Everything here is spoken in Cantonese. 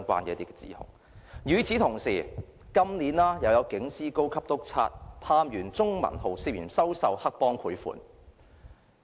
與此同時，今年亦有警司、高級督察、探員鍾文浩涉嫌收受黑幫賄款。